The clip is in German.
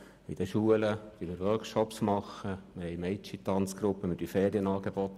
In den Schulen bieten wir Workshops an, es gibt eine Mädchen-Tanzgruppe sowie Ferienangebote.